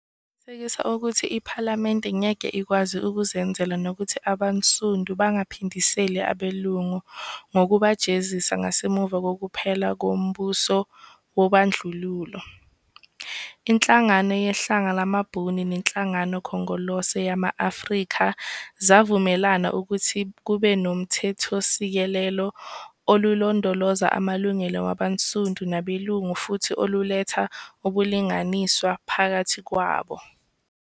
Ukuqinisekisa ukuthi iPhalamende ngeke ikwazi ukuzenzela nokuthi abansundu bangaphindiseli abelungu ngokubajezisa ngasemuva kokuphela kwombuso wobandlululo, iNhlangano Yehlanga lamaBhunu neNhlangano Khongolose Yama-Afrika zavumelana ukuthi kubenoMthethosisekelo olulondoloza amalungelo wabansundu nabelungu futhi oluletha ubulinganiswa ngaphakathi kwabo.